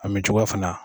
A min cogoya fana